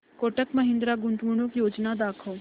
कोटक महिंद्रा गुंतवणूक योजना दाखव